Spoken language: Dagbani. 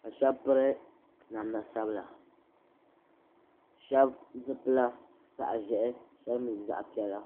ka shɛba piri namda sabla sheba zipila zaɣa ʒehi sheba mee zaɣa piɛla.